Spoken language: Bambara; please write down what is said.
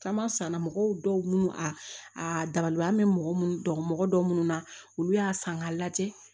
Kama sanna mɔgɔ dɔw minnu a a dabali an bɛ mɔgɔ minnu dɔn mɔgɔ dɔw minnu na olu y'a san k'a lajɛ